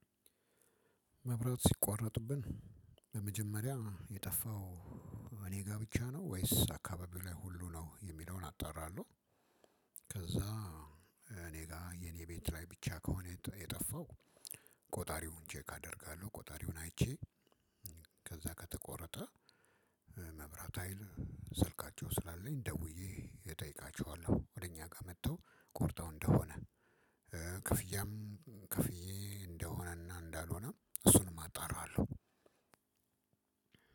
መብራት ሲቋረጥብን በመጀመሪያ የጠፋው እኔ ጋ ብቻ ነው ወይስ አካባቢው ላይ ሁሉ ነው የሚለውን አጣራለሁ። ከዛ እኔ ጋር የኔ ቤት ላይ ብቻ ከሆነ የጠፋው ቆጣሪውን ቼክ አደርጋለሁ ቆጣሪውን አይቼ ከዛ ከተቆረጠ መብራት ሀይል ስልካቸው ስላለኝ ደውዬ እጠይቃቸዋለሁ። ወደ እኛ ጋር መጥተው ቆርጠው እንደሆነ ክፍያም ከፍዬ እንደሆነና እንዳልሆነ እሱንም አጣራለሁ።